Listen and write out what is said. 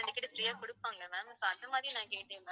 உங்ககிட்ட free ஆ குடுப்பாங்க ma'am so அந்த மாதிரி நான் கேட்டேன் ma'am